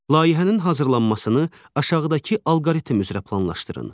Layihənin hazırlanmasını aşağıdakı alqoritm üzrə planlaşdırın.